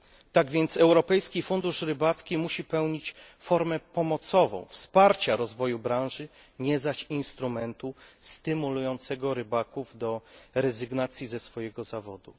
Tak więc Europejski Fundusz Rybacki musi pełnić formę pomocową, wsparcia rozwoju branży, nie zaś instrumentu stymulującego rybaków do rezygnacji ze swojego zawodu.